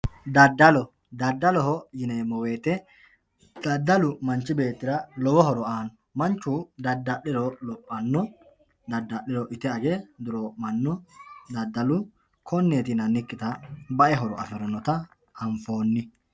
daddalo daddaloho yineemmo wote daddalu manchi beettira lowo horo aanno manchu dada'liro lophanno dadda'liro ite age dureemma'no daddalu konneeti yinannikkita bae horo afirinota anfoonni.